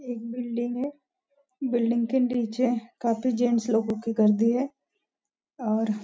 एक बिल्डिंग है बिल्डिंग के नीचे काफी जेंट्स लोगों की गर्दी है और --